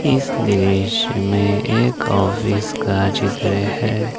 इस दृश्य में एक ऑफिस का चित्र है।